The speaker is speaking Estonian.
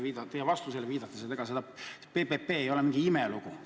Lihtsalt teie vastusele viidates lisan, et ega PPP ei ole mingi imelugu.